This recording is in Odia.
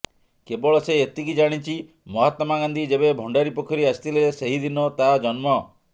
କେବଳ ସେ ଏତିକି ଜାଣିଚି ମହାତ୍ମା ଗାନ୍ଧୀ ଯେବେ ଭଣ୍ଡାରିପୋଖରୀ ଆସିଥିଲେ ସେହିଦିନ ତା ଜନ୍ମ